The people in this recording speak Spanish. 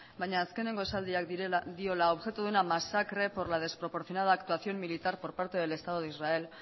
baina azkeneko esaldiak diola hau objeto de una masacre por la desproporcionada actuación militar por parte del estado de israel